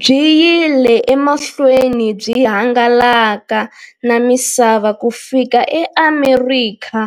Byi yile emahlweni byi hangalaka na misava ku fika eAmerika,